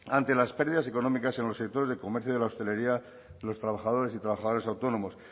ante las pérdidas económicas en los sectores de comercio y de la hostelería de los trabajadores y trabajadoras autónomos